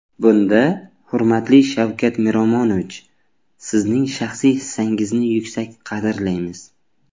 Bunda, hurmatli Shavkat Miromonovich, Sizning shaxsiy hissangizni yuksak qadrlaymiz.